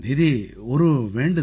தீதி ஒரு வேண்டுதல்